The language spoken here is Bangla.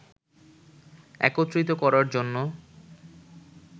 একত্রিত করার জন্য